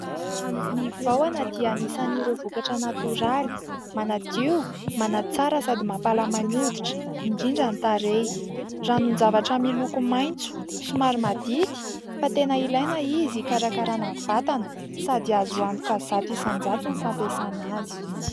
Ny vahona dia anisan'ireo vokatra natoraly manadio, manatsara sady mampalama ny hoditra indrindra ny tarehy. Ranon-javatra miloko maitso somary madity fa tena ilaina izy hikarakarana ny vatana sady azo antoka zato isan-jato ny fampiasana azy.